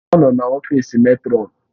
Ọ nọ n'ọfịs mètrọn.